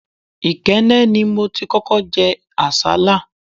Ikenne ni mo ti kókó jẹ àsálà.